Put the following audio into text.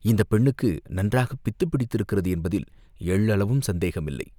இந்தப் பெண்ணுக்கு நன்றாகப் பித்துப் பிடித்திருக்கிறது என்பதில் எள்ளளவும் சந்தேகமில்லை.